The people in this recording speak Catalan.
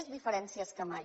més diferències que mai